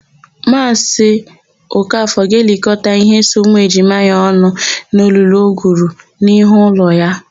Maazị Okafọ ga-elikọta íhé so ụmụejima ya ọnụ n'olulu o gwuru n'ihu ụlọ ya.